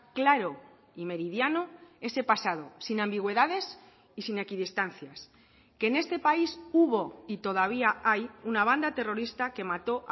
claro y meridiano ese pasado sin ambigüedades y sin equidistancias que en este país hubo y todavía hay una banda terrorista que mató